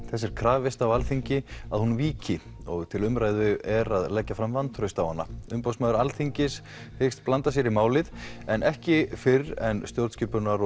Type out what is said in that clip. þess er krafist á Alþingi að hún víki og til umræðu er að leggja fram vantraust á hana umboðsmaður Alþingis hyggst blanda sér í málið en ekki fyrr en stjórnskipunar